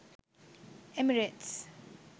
emirates